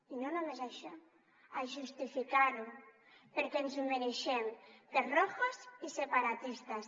i no només això a justificar ho perquè ens ho mereixem per rojos i separatistes